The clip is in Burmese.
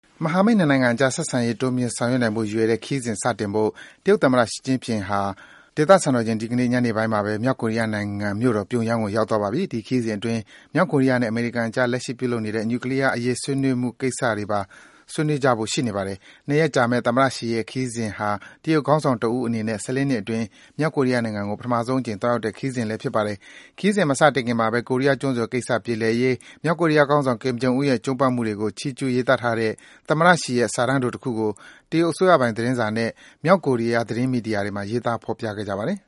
မဟာမိတ် နှစ်နိုင်ငံအကြား ဆက်ဆံရေးတွေ တိုးမြင့်ဆောင်ရွက်နိုင်ဖို့ရွယ်တဲ့ ခရီးစဉ် စတင်ဖို့ တရုတ်သမ္မတ ရှီကျင့်ဖျင်ဟာ မကြာသေးခင် နာရီပိုင်းအတွင်းကဘဲ မြောက်ကိုရီးယားနိုင်ငံမြို့တော် ပြုံယမ်းကို ရောက်သွားပါပြီ။ ဒီခရီးစဉ်အတွင်း မြောက်ကိုရီးယားနဲ့ အမေရိကန်အကြား လက်ရှိပြုလုပ်နေတဲ့ နျူကလီးယားအရေး ဆွေးနွေးမှုကိစ္စပါ ဆွေးနွေးကြမှာ ဖြစ်ပါတယ်။ ၂ ရက်ကြာမယ့် သမ္မတ ရှီရဲ့ ဒီခရီးစဉ်ဟာ တရုတ်ခေါင်းဆောင်တဦးအနေနဲ့ ၁၄ နှစ်အတွင်း မြောက်ကိုရီးယားနိုင်ငံကို ပထမဆုံးအကြိမ် သွားရောက်တဲ့ ခရီးစဉ်လည်း ဖြစ်ပါတယ်။ ခရီးစဉ် မစတင်ခင်မှာဘဲ ကိုရီးယားကျွန်းဆွယ်ကိစ္စ ပြေလည်ရေး မြောက်ကိုရီးယားခေါင်းဆောင် Kim Jong Un ရဲ့ ကြိုးပမ်းတွေကို ချီးကျူး ရေးသားထားတဲ့ သမ္မတရှီရဲ့ စာတမ်းတိုတခုကို တရုတ်းအစိုးရပိုင် သတင်းစာနဲ့ မြောက်ကိုရီးယား သတင်းမီဒီယာတွေမှာ ဖော်ပြခဲ့ကြပါတယ်။